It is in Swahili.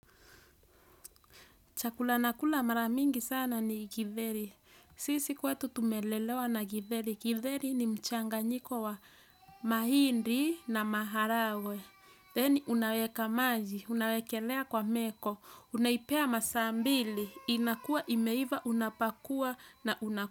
Chakula nakula mara mingi sana ni githeri. Sisi kwetu tumelelewa na githeri. Githeri ni mchanganyiko wa mahindi na maharagwe. Then unaweka maji, unawekelea kwa meko, unaipea masaa mbili, inakua, imeiva, unapakua na unakula.